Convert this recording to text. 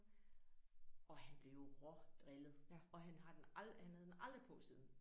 Og han blev rå drillet og han har den han havde den aldrig på siden